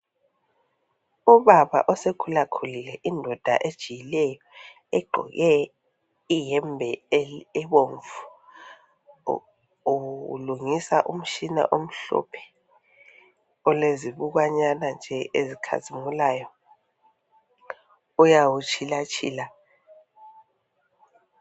Ubaba osekhula khulile indoda ejiyileyo egqoke iyembe ebomvu ulungisa umtshina omhlophe olezibukwanyana nje ezikhazimulayo uyawu tshila tshila.